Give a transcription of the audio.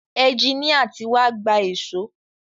Ẹjiníà tí wá gba èṣó.